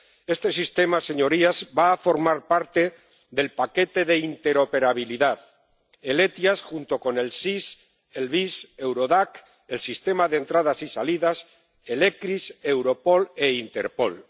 Este sistema, señorías, va a formar parte del paquete de interoperabilidad. El SEIAV, junto con el SIS, el VIS, Eurodac, el sistema de entradas y salidas, el ECRIS, Europol e Interpol.